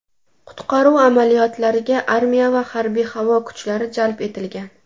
Qutqaruv amaliyotlariga armiya va harbiy-havo kuchlari jalb etilgan.